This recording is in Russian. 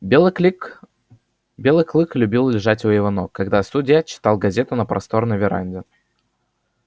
белый клик белый клык любил лежать у его ног когда судья читал газету на просторной веранде